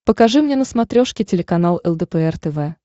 покажи мне на смотрешке телеканал лдпр тв